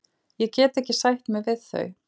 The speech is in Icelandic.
Ég get ekki sætt mig við þau.